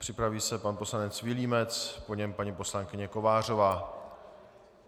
Připraví se pan poslanec Vilímec, po něm paní poslankyně Kovářová.